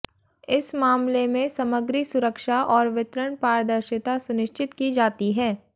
इस मामले में समग्री सुरक्षा और वितरण पारदर्शिता सुनिश्चित की जाती है